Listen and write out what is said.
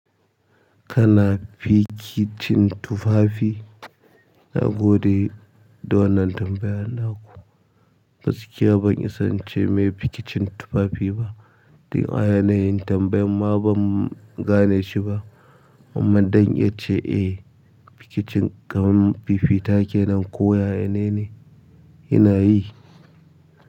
Kana fikicin tufafi? Na gode da wannan tambayan naku. Gaskiya ban isa ince mene fikicin tufafi ba. Don a yanayin tambayar ma ban gane shi ba. Amma zan iya ce eh fikicin kamar fifita kenan ko ya ya ne na yi.